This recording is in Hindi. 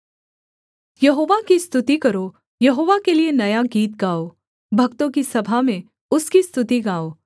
यहोवा की स्तुति करो यहोवा के लिये नया गीत गाओ भक्तों की सभा में उसकी स्तुति गाओ